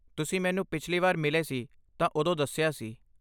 ਤੁਸੀਂ ਮੈਨੂੰ ਪਿਛਲੀ ਵਾਰ ਮਿਲੇ ਸੀ ਤਾਂ ਉਦੋਂ ਦੱਸਿਆ ਸੀ।